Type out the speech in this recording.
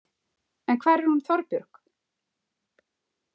En hvar er hún Þorbjörg?